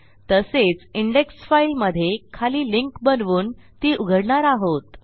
तसेच index file मधे खाली लिंक बनवून ती उघडणार आहोत